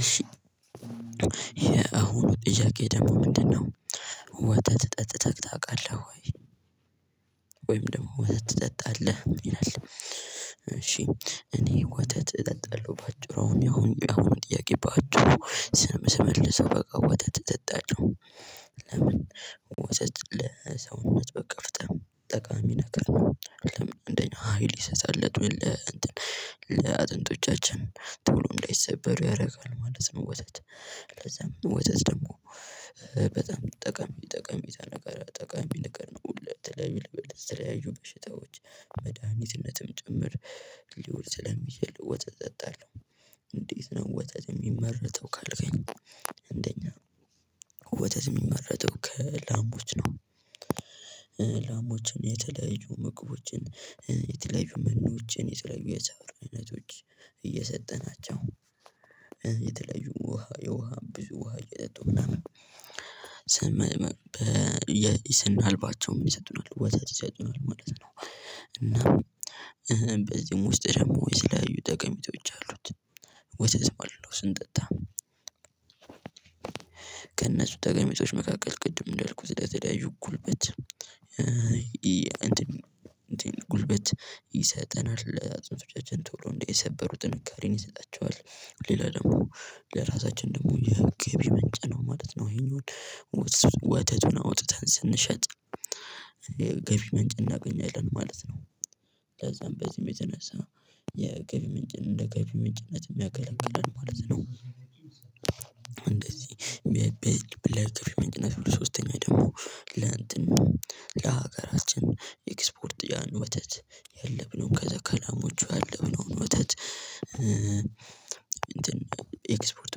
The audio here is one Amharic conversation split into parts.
እሺ የአሁኑ ጥያቄ ደግሞ ምንድነው ወተት ጠጥተህ ታውቃለህ ወይ? ወይም ደግሞ ወተት ትጠጣለህ ይላል እሺ እኔ ወተት እጠጣለሁ በአጭሩ አሁን ያሁን ያሁኑን ጥያቄ በአጭሩ ስመልሰው በቃ ወተት እጠጣለሁ። ለምን ወተት ለሰውነት በቃ በጣም ጠቃሚ ነገር ነው። አቅም አንደኛ ሀይል ይሰጣል ለእንትን ለአጥንቶቻችን ቶሎ እንዳይሰበሩ ያደርጋል ማለት ነው። ወተት ለዛም ወተት ደግሞ በጣም ጠቃሚ ጠቀሜታ ነገር ጠቀሚ ነገር ነው። ለተለያዩ ለተለያዩ በሽታዎች መድሃኒትነትም ጭምር ሊወል ስለሚችል ወተት እጠጣለሁ። እንዴት ነው ወተት የሚመረተው ካልከኝ? አንደኛ ወተት የሚመረተው ከላሞች ነው። ላሞችን የተለያየ ምግቦችን የተለያዩ መኖዎችን የተለያዩ የሰብል አይነቶች እየሰጠናቸው የተለያዩ ውሃ የውሃ ብዙ ውሃ እየጠጡ ምናምን አለባቸው ምን ይሰጡናል ወተት ይሰጡናል ማለት ነው። እና በዚህም ውስጥ ደግሞ የተለያዩ ጠቀሜታዎች አሉት። ወተት ማለት ነው ስንጠጣ ከነሱ ጠቀሜታዎች መካከል ቅድም እንዳልኩት ለተለያዩ ጉልበት እንትን እንትን ጉልበት ይሰጠናል። አጥንቶቻችን ቶሎ እንዳይሰበሩ ጥንካሬን ይሰጣቸዋል። ሌላ ደግሞ ለራሳችን ደግሞ የገቢ ምንጭ ነው ማለት ነው። ይሄኛውን ወተቱን አውጥተን ስንሸጥ ገቢ ምንጭ እናገኛለን ማለት ነው። ለዛም በዚህም የተነሳ የገቢ ምንጭን እንደ ገቢ ምንጭነት የሚያገለግለን ማለት ነው። እንደዚህ በለገቢ ምንጭና ሶስተኛ ደግሞ ለእንትን ለሀገራችን ኤክስፖርት ያን ወተት ያለብነውን ከዛ ከላማዎቹ ያለብነውን ወተት ኤክስፖርት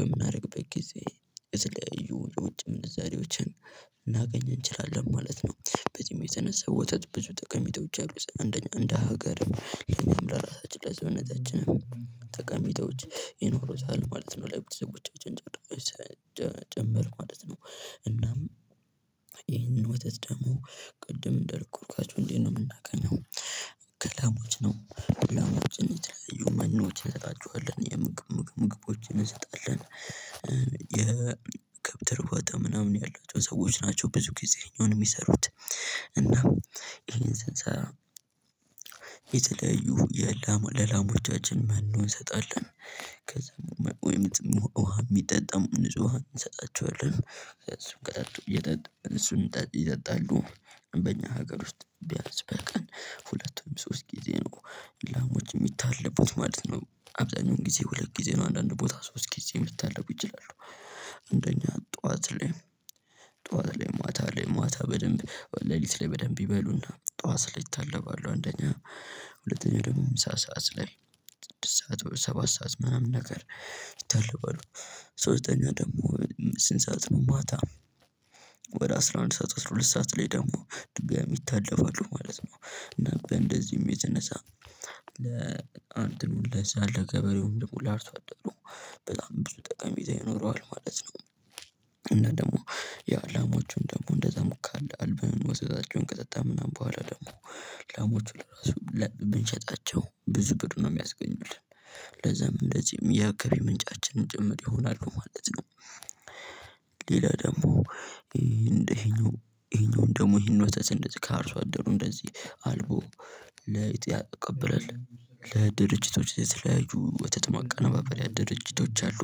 በምናደርግበት ጊዜ የተለያዩ የውጭ ምንዛሬዎችን ልናገኝ እንችላለን ማለት ነው። በዚህም የተነሳ ወተት ብዙ ጠቀሜቶች አሉት። አንደኛ አንደ ሀገር እኛም ለራሳችን ለሰውነታችን ተቀሚጦች ይኖሩታል ማለት ነው። ለቤተሰቦቻችን ጭምር ማለት ነው። እናም ይሄንን ወተት ደግሞ ቅድም እንደልኩ ወተቱን እንዴት ነው የምናገኘው? ከላሞች ነው። ላሞችን የተለያዩ መኖች እንሰጣችኋለን የምግብ ምግብ ምግቦችን እንሰጣለን። የከብት እርባት ቦታ ምናምን ያላቸው ሰዎች ናቸው ብዙ ጊዜ ይሄኛውን የሚሰሩት። እናም ይሄን ስንሰራ የተለያዩ የላሙ ለላሙቻችን መኖ እንሰጣለን። ከዛ ውሃ የሚጠጣም ንጹህ ውሃም እንሰጣቸዋለን እሱን ቀጠጡ እየጠጡ እሱን ይጠጣሉ። በእኛ ሀገር ውስጥ ቢያንስ በቀን ሁለቱም ሶስት ጊዜ ነው። ላሞች የሚታለቡት ማለት ነው አብዛኛው ጊዜ ሁለት ጊዜ ነው አንዳንድ ቦታ ሶስት ጊዜ መታለብ ይችላሉ። አንደኛ ጠዋት ላይ ጠዋት ላይ ማታ ላይ ማታ በደንብ ሌሊት ላይ በደንብ ይበሉና ጠዋት ላይ ይታለባሉ። አንደኛ ሁለተኛ ደግሞ ምሳ ሰዓት ላይ ስድስት ሰዓት ሰባት ሰዓት ምናምን ነገር ይታለባሉ። ሶስተኛ ደግሞ ስንት ሰዓት ነው ማታ? ወደ አስራ አንድ ሰዓት አስራ ሁለት ሰዓት ላይ ደግሞ ድጋሚ ይታለባሉ ማለት ነው። እና በእንደዚህም የተነሳ ለእንትኑ ለዛ ለገበሬው ደግሞ ለአርሶ አደሩ በጣም ብዙ ጠቃሜታ ይኖረዋል ማለት ነው። እና ደግሞ የላማዎቹን ደግሞ እንደዛ ሙቅ አለ አልበን ወተታቸውን ከጠጣን ምናምን በኋላ ደግሞ ላሞቹ ለራሱ ብንሸጣቸው ብዙ ብር ነው የሚያስገኙልን። ለዛም እንደዚህም የገቢ ምንጫችንን ጭምር ይሆናሉ ማለት ነው። ሌላ ደግሞ ይሄ እንደዚህኛው ይሄኛውን ደግሞ ይሄን ወተት እንደዚህ ከአርሶ አደሩ እንደዚህ አልቦ ለይጥ ያቀብለል ለድርጅቶች የተለያዩ ወተት ማወነባበርያ ድርጅቶች አሉ።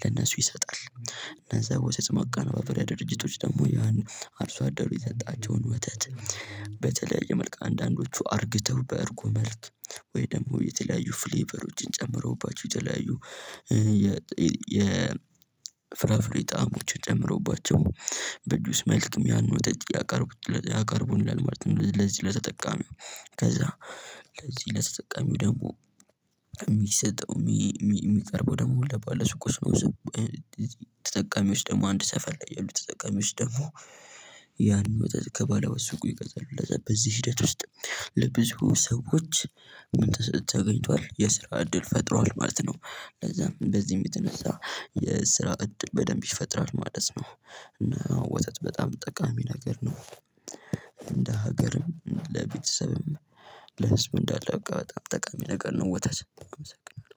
ለእነሱ ይሰጣል እነዛ ወተት ማቃነባበሪያ ድርጅቶች ደግሞ ያን አርሶ አደሩ የሰጣቸውን ወተት። በተለያየ መልክ አንዳንዶቹ አርግተው በእርጎ መልክ ወይ ደግሞ የተለያዩ ፍሌቨሮችን ጨምሮባቸው የተለያዩ የፍራፍሬ ጣዕሞችን ጨምሮባቸው በጁስ መልክም ያን ወተት ያን ያቀርቡናል ማለት ነው። ለዚህ ለተጠቃሚው ከዛ ለዚህ ለተጠቃሚው ደግሞ የሚሰጠው የሚቀርበው ደግሞ ለባለ ሱቆች። ተጠቃሚዎች ደግሞ አንድ ሰፈር ላይ ያሉት ተጠቃሚዎች ደግሞ ያን ወተት ከባለ ሱቁ ይገዛሉለዛ በዚህ ሂደት ውስጥ ለብዙ ሰዎች ምን ተገኝቷል የስራ እድል ፈጥሯል ማለት ነው። ለዛም በዚህም የተነሳ የስራ እድል በደንብ ይፈጥራል ማለት ነው። እና ወተት በጣም ጠቃሚ ነገር ነው። እንደ ሀገርም ለቤተሰብም ለህዝብ እንዳለ በቃ በጣም ጠቃሚ ነገር ነው ወተት አመሰግናለው።